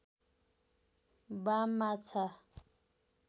बाम माछा